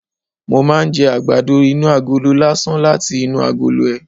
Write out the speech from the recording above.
Mo máa ń jẹ àgbàdo inú agolo lásán láti inú agolo ẹ̀